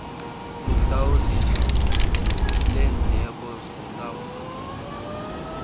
luhlawuliso lendleko zokulawula